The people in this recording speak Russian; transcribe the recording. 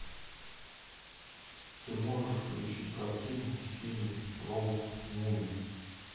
ты можешь включить картину в стиле роуд муви